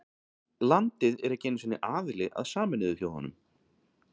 Landið er ekki einu sinni aðili að Sameinuðu þjóðunum.